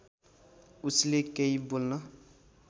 उसले केही बोल्न